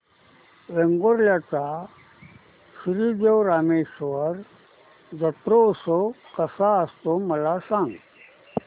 वेंगुर्ल्या चा श्री देव रामेश्वर जत्रौत्सव कसा असतो मला सांग